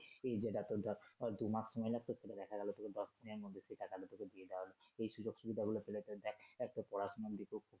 যেটা তোর ধর দু মাস সময় লাগত সেটা দেখা গেলো দশদিনের মধ্যে টাকা টা দিয়ে দেয়া হচ্ছে এই সুযোগ সুবিধা গুলো পেলে তোর দেখ আহ তোর পড়াশুনা যদি খুব